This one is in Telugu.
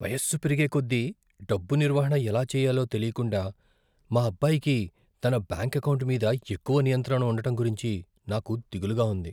వయస్సు పెరిగేకొద్దీ డబ్బు నిర్వహణ ఎలా చెయ్యాలో తెలీకుండా మా అబ్బాయికి తన బ్యాంకు ఎకౌంటు మీద ఎక్కువ నియంత్రణ ఉండటం గురించి నాకు దిగులుగా ఉంది.